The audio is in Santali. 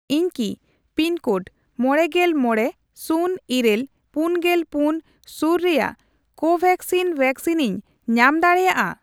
ᱤᱧ ᱠᱤ ᱯᱤᱱᱠᱳᱰ ᱢᱚᱲᱮᱜᱮᱞ ᱢᱚᱲᱮ ,ᱥᱩᱱ ᱤᱨᱟᱹᱞ ,ᱯᱩᱱᱜᱮᱞ ᱯᱩᱱ ᱥᱩᱨ ᱨᱮᱭᱟᱜ ᱠᱳᱵᱷᱮᱠᱥᱤᱱ ᱣᱮᱠᱥᱤᱱᱤᱧ ᱧᱟᱢ ᱫᱟᱲᱮᱭᱟᱜᱼᱟ ᱾